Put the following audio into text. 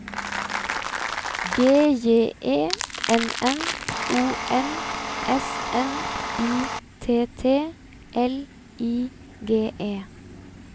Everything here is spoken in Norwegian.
G J E N N O M S N I T T L I G E